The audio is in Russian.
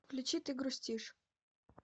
включи ты грустишь